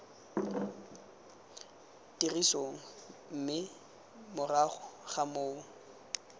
tirisong mme morago ga moo